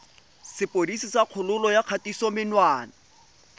sepodisi sa kgololo ya kgatisomenwa